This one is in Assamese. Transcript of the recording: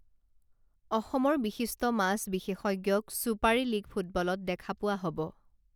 অসমৰ বিশিষ্ট মাছ বিশেষজ্ঞক ছুপাৰী লীগ ফুটবলত দেখা পোৱা হব